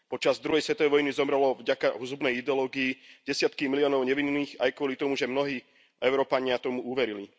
Počas druhej svetovej vojny zomreli vďaka zhubenej ideológii desiatky miliónov nevinných aj kvôli tomu, že mnohí Európania tomu uverili.